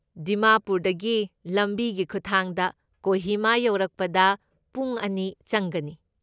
ꯗꯤꯃꯥꯄꯨꯔꯗꯒꯤ ꯂꯝꯕꯤꯒꯤ ꯈꯨꯠꯊꯥꯡꯗ ꯀꯣꯍꯤꯃꯥ ꯌꯧꯔꯛꯄꯗ ꯄꯨꯡ ꯑꯅꯤ ꯆꯪꯒꯅꯤ꯫